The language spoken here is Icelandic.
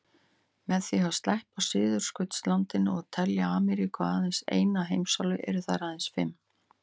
Með því að sleppa Suðurskautslandinu og telja Ameríku aðeins eina heimsálfu eru þær aðeins fimm.